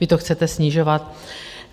Vy to chcete snižovat.